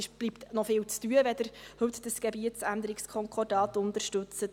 Es bleibt also noch viel zu tun, wenn Sie heute dieses Gebietsänderungskonkordat unterstützen.